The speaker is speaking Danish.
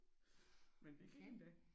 Men det gik endda